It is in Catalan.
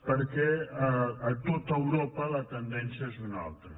perquè a tot europa la tendència és una altra